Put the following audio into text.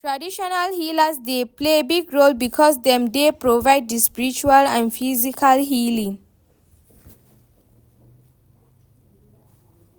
traditional healers dey play big role because dem dey provide di spiritual and physical healing.